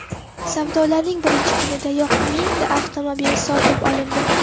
Savdolarning birinchi kunidayoq mingta avtomobil sotib bo‘lindi.